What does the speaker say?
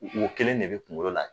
Wo kelen de bɛ kungolo la.